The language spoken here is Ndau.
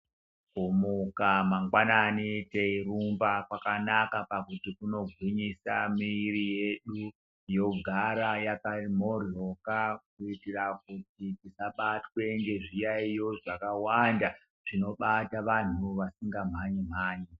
Kumuka mangwanani teirumba kwakanaka pakuti kunogwinyisa mwiri yedu yogara yaka mhoryoka kuitira kuti tisabatwe nezviyaiyo zvakawanda zvinovata vantu vasinga mhanyi mhanyi.